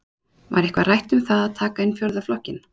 Var eitthvað rætt um það að taka inn fjórða flokkinn?